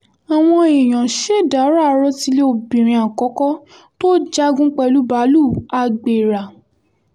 àwọn èèyàn ṣèdàrọ̀ àròtilé obìnrin àkọ́kọ́ tó jagun pẹ̀lú báàlúù agbera